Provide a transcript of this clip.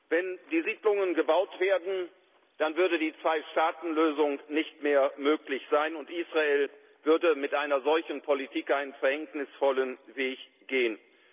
Wenn die Siedlungen gebaut werden, dann würde die Zwei Staaten Lösung nicht mehr möglich sein und Israel würde mit einer solchen Politik einen verhängnisvollen Weg gehen.